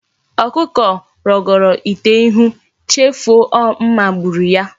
Okuko rogoro ite ihu, chefu o mma gburu ya